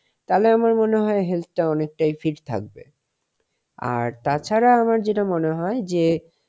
তালে আমার মনে হয় health টা অনেকটাই fit থাকবে. আর তাছাড়া আমার যেটা মনে হয় যে,